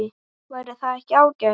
Væri það ekki ágætt?